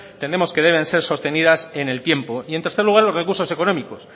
entendemos que deben ser sostenidas en el tiempo y en tercer lugar los recursos económicos